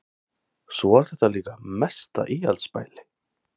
Svo var þetta líka mesta íhaldsbæli.